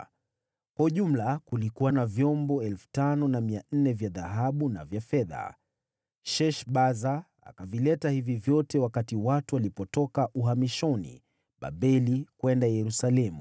Kwa ujumla, kulikuwa na vyombo 5,400 vya dhahabu na vya fedha. Sheshbaza akavileta hivi vyote wakati watu walipotoka uhamishoni Babeli kwenda Yerusalemu.